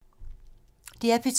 DR P2